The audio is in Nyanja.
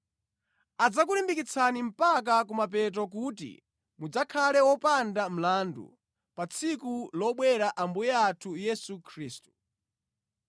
Adzakulimbikitsani mpaka kumapeto kuti mudzakhale wopanda mlandu pa tsiku lobwera Ambuye athu Yesu Khristu.